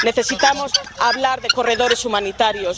Necesitamos hablar de corredores humanitarios.